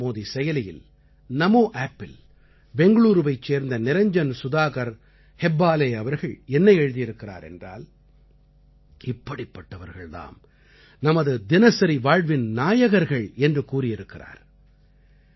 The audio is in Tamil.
நரேந்திரமோதி செயலியில் NamoAppஇல் பெங்களூரூவைச் சேர்ந்த நிரஞ்ஜன் சுதாகர் ஹெப்பாலே அவர்கள் என்ன எழுதியிருக்கிறார் என்றால் இப்படிப்பட்டவர்கள் தாம் நமது தினசரி வாழ்வின் நாயகர்கள் என்று கூறியிருக்கிறார்